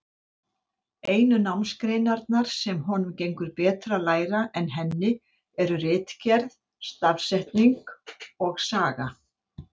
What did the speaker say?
Einu námsgreinarnar, sem honum gengur betur að læra en henni, eru ritgerð, stafsetning og saga.